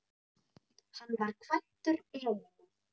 Hann var kvæntur Elínu